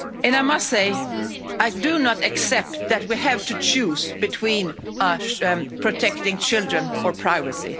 I must say, I do not accept that we have to choose between protecting children or privacy.